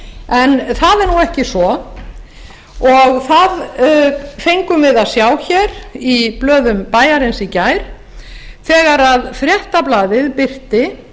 en það er nú ekki svo og það fengum við að sjá hér í blöðum bæjarins í gær þegar fréttablaðið birti